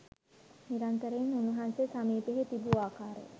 නිරන්තරයෙන් උන්වහන්සේ සමීපයෙහි තිබූ ආකාරය